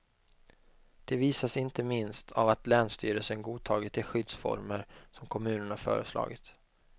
De visas inte minst av att länsstyrelsen godtagit de skyddsformer som kommunerna föreslagit.